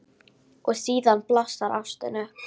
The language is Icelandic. Og síðan blossar ástin upp.